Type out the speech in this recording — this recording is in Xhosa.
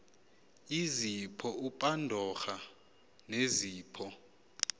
izipho upandora nezipho